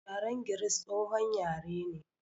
Yaren Giris, tsohon yare ne.